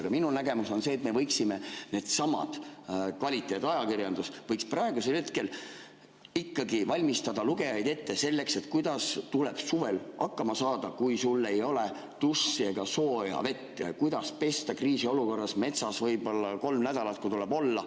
Aga minu nägemus on see, et kvaliteetajakirjandus võiks praegusel hetkel ikkagi valmistada lugejaid ette selleks, kuidas tuleb suvel hakkama saada, kui sul ei ole dušši ega sooja vett, ning kuidas ennast kriisiolukorras metsas pesta, kui võib-olla kolm nädalat tuleb seal olla.